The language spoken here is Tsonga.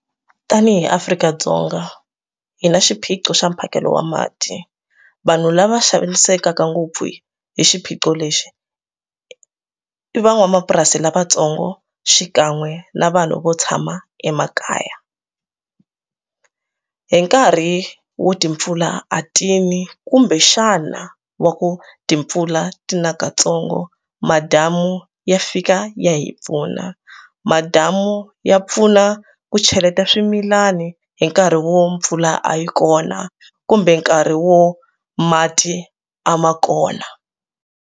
Tanihi Afrika-Dzonga hi na xiphiqo xa mphakelo wa mati vanhu lava xanisekaka ngopfu hi xiphiqo lexi i i van'wamapurasi lavatsongo xikan'we na vanhu vo tshama emakaya hi nkarhi wo timpfula a tini kumbexana wa ku timpfula tina katsongo madamu ya fika ya hi pfuna madamu ya pfuna ku cheleta swimilana hi nkarhi wo mpfula a yi kona kumbe nkarhi wo mati a ma kona.